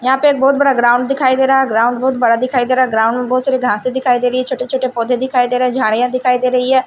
यहाँ पे एक बहुत बड़ा ग्राउंड दिखाई दे रहा है। ग्राउंड बहुत बड़ा दिखाई दे रहा है। ग्राउंड में बहुत सारी घासे दिखाई दे रही है छोटे-छोटे पौधे दिखाई दे रहे हैं झाड़ियां दिखाई दे रही है।